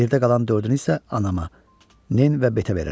Yerdə qalan dördünü isə anama, Nin və Betə verirəm.